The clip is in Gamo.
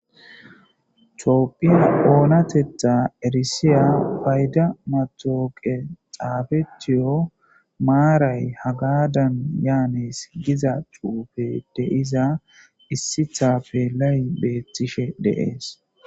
Coopphiya oonatetha erisiya payda matooqe xaafetiyo maaray hagadan yaanees giza cuufe deiza issithappelay beettishe deees